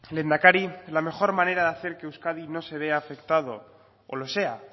lehendakari la mejor manera de hacer que euskadi no se vea afectado o lo sea